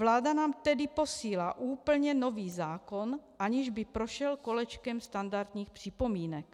Vláda nám tedy posílá úplně nový zákon, aniž by prošel kolečkem standardních připomínek.